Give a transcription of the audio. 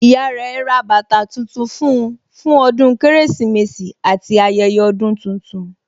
Ìyá rẹ ra bàtà tuntun fún un fún ọdún Kérésìmesì àti ayẹyẹ ọdún tuntun